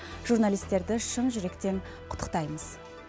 журналисттерді шын жүректен құттықтаймыз